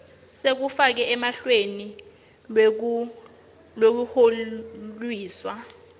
sekufakwa eluhlelweni lwekuhlonyiswa